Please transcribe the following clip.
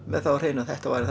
með það á hreinu að þetta væri